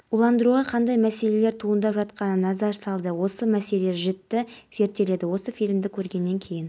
уландыруға қандай мәселелер туындап жатқанына назар салды осы мәселені жіті зерттеді осы фильмді көргеннен кейін